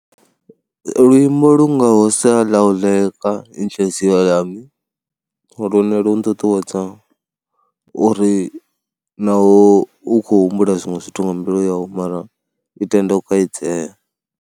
Luimbo lu ngaho sa Laluka Inhliziyo Yami, lune lu nṱuṱuwedza uri na u, u khou humbula zwiṅwe zwithu nga mbilu yawu mara i tende u kaidzea.